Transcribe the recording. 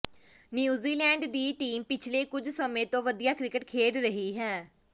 New Zealand ਦੀ team ਪਿਛਲੇ ਕੁਝ ਸਮੇਂ ਤੋਂ ਵਧੀਆ ਕ੍ਰਿਕਟ ਖੇਡ ਰਹੀ ਹੈ